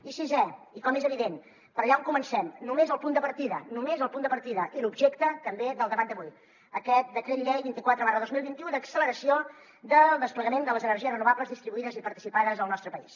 i sisè i com és evident per allà on comencem només el punt de partida només el punt de partida i l’objecte també del debat d’avui aquest decret llei vint quatre dos mil vint u d’acceleració del desplegament de les energies renovables distribuïdes i participades al nostre país